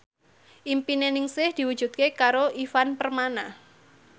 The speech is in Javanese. impine Ningsih diwujudke karo Ivan Permana